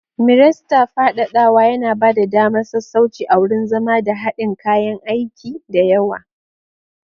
Miresta fadadawa yana ba da damar sassauci a wurin zama da haɗin kayan aiki da yawa.